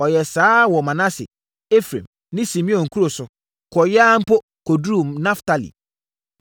Ɔyɛɛ saa ara wɔ Manase, Efraim ne Simeon nkuro so, kɔeɛ ara mpo, kɔduruu Naftali.